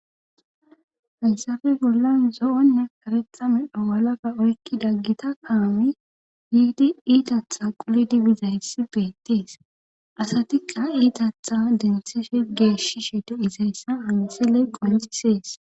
Haysafe bollan zo7onne karetha medho walaka oykki daggita kaami yiidi iitatha quli dibizayssi beettees asatikqa iitatha dentseshe geeshishe di izayssa ansiley qonccisees.